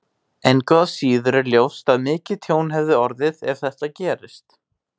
Engu að síður er ljóst að mikið tjón hefði orðið ef þetta gerist.